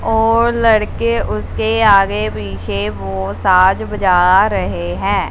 और लड़के उसके आगे पीछे वो साज बजा रहे हैं।